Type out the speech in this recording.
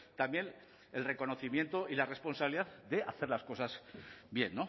también el reconocimiento y la responsabilidad de hacer las cosas bien